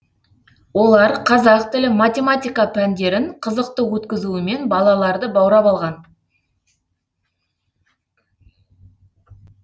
олар қазақ тілі математика пәндерін қызықты өткізуімен балаларды баурап алған